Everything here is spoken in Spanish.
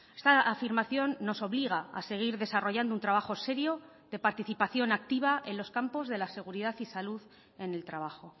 esta afirmación nos obliga a seguir desarrollando un trabajo serio de participación activa en los campos de la seguridad y salud en el trabajo